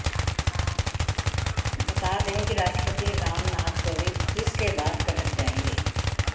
बता दें कि राष्ट्रपति राम नाथ कोविंद इस के बाद कटक जाएंगे